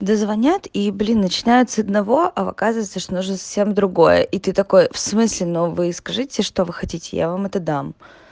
да звонят и блин начинают с одного а оказывается что нужно совсем другое и ты такой в смысле но вы скажите что вы хотите я вам это дам